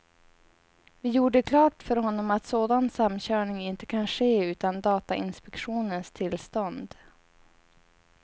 Vi gjorde klart för honom att sådan samkörning inte kan ske utan datainspektionens tillstånd.